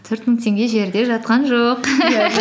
төрт мың теңге жерде жатқан жоқ